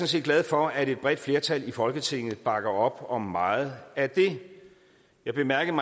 set glad for at et bredt flertal i folketinget bakker op om meget af det jeg bemærkede